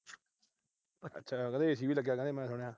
ਅੱਛਾ, ਕਹਿੰਦੇ AC ਵੀ ਲੱਗਿਆ, ਮੈਂ ਸੁਣਿਆ।